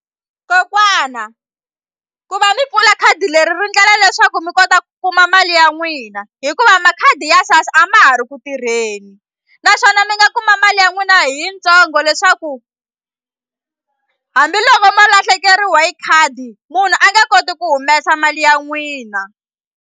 Kokwana ku va mi pfula khadi leri ri ndlela leswaku mi kota ku kuma mali ya n'wina hikuva makhadi ya SASSA a ma ha ri ku tirheni naswona mi nga kuma mali ya n'wina hi yitsongo leswaku hambiloko ma lahlekeriwe hi khadi munhu a nge koti ku humesa mali ya n'wina.